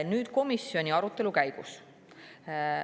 Nüüd komisjoni arutelu käigust.